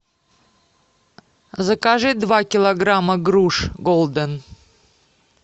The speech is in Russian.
закажи два килограмма груш голден